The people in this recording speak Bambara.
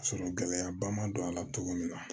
Ka sɔrɔ gɛlɛyaba ma don a la cogo min na